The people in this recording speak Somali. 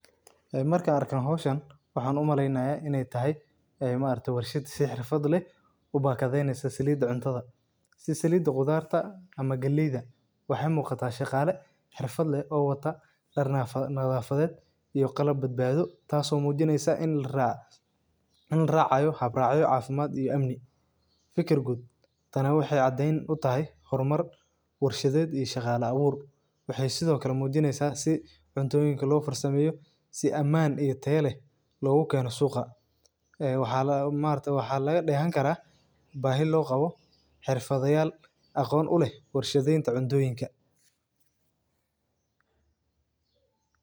E marka arka howsahan waxan umaleynaya inay tahay e maraagtay warshad si xerfad leh u bakdeyneyso salida cubtada, si salida qudarta ama galeyda waxa muqata shaqale xerfad leh o wata daar nadhafaded iyo qalab badbado tas o mujineysa in laracayo hab racyo cafimad iyo amni, fikir guud tani waxay cadeyn u tahay hor mar warshadeed iyo shaqala abuur waxay sido kale mujineysa si cuntoyinka lo far sameeyo si aman iyo taya leeh loga keeno suqa waxa laga degan kara bahi loqabo xerfada yal aqon u leeh warshadeynta cuntoyinka l.